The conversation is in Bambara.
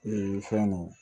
Ee fɛn nu